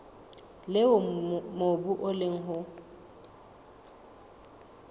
leo mobu o leng ho